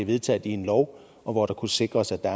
vedtaget en lov og hvor det kunne sikres at der